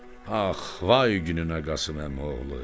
Ax, vay gününə Qasım Əmi oğlu!